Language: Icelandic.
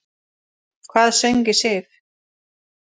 Hvað söng í Sif?